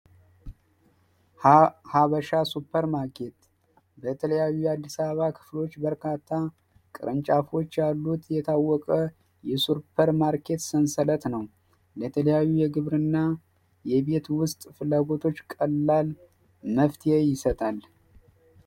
ሀበሻ ሱፐር ማርኬ የተለያየ አዲስ አበባዎች በርካታ ቅርን የታወቀ ማርኬት ሰንሰለት ነው የተለያዩ የግብርና ውስጥ ፍላጎቶች ቀላል ይሰጣል።